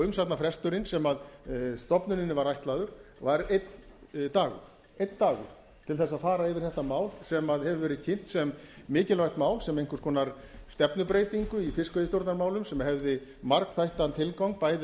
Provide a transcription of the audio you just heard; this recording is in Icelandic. umsagnarfresturinn sem stofnuninni var ætlaður var einn dagur einn dagur til þess að fara yfir þetta mál sem hefur verið kynnt sem mikilvægt mál sem einhvers konar stefnubreytingu í fiskveiðistjórnarmálum sem hefði margþættan tilgang bæði